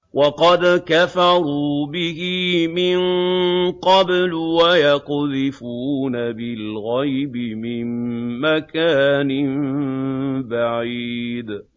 وَقَدْ كَفَرُوا بِهِ مِن قَبْلُ ۖ وَيَقْذِفُونَ بِالْغَيْبِ مِن مَّكَانٍ بَعِيدٍ